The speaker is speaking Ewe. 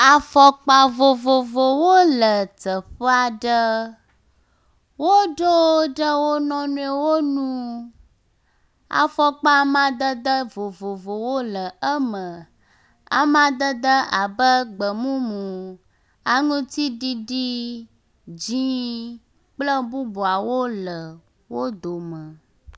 Afɔkpa vovovowo le teƒe aɖe. Woɖo wo ɖe wo nɔewo nu. Afɔkpa amadede vovovowo le eme. Amadede abe gbemumu, aŋutiɖiɖi, dzɛ̃ kple bubuawo le wo dome.